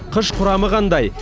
қыш құрамы қандай